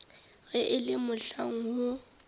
ge e le mohlang woo